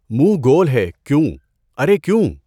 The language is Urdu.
منہ گول ہے کیوں، ارے کیوں؟